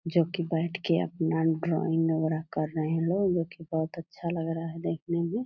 जो की बैठ के अपना वगैरा कर रहे हैं लोग जो की बहोत अच्छा लग रहा है देखने में।